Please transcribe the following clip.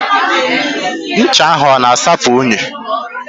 Does the soap wash off dirt?